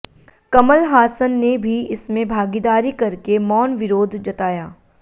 कमल हासन ने भी इसमें भागीदारी करके मौन विरोध जताया